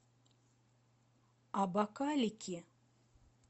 абакалики